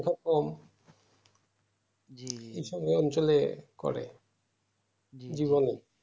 এরকম এসবই অঞ্চলে করে